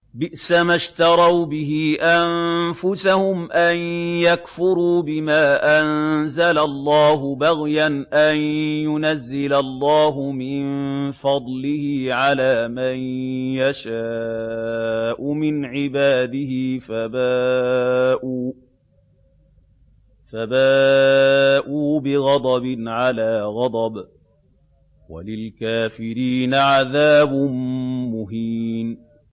بِئْسَمَا اشْتَرَوْا بِهِ أَنفُسَهُمْ أَن يَكْفُرُوا بِمَا أَنزَلَ اللَّهُ بَغْيًا أَن يُنَزِّلَ اللَّهُ مِن فَضْلِهِ عَلَىٰ مَن يَشَاءُ مِنْ عِبَادِهِ ۖ فَبَاءُوا بِغَضَبٍ عَلَىٰ غَضَبٍ ۚ وَلِلْكَافِرِينَ عَذَابٌ مُّهِينٌ